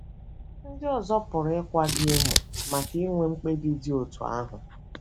Ndị ọzọ pụrụ ịkwa gị emu maka inwe mkpebi dị otú ahụ.